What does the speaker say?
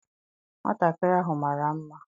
Nwatakịrị ahụ mara mma.